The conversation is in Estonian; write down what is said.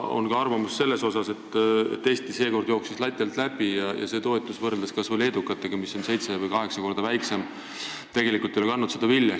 On ka arvatud, et Eesti jooksis seekord lati alt läbi ja see toetus, mis võrreldes kas või leedukate omaga on seitse või kaheksa korda väiksem, ei ole tegelikult kandnud vilja.